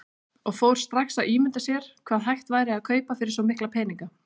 Og fór strax að ímynda sér hvað hægt væri að kaupa fyrir svo mikla peninga.